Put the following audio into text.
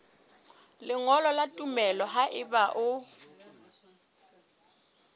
lengolo la tumello haeba o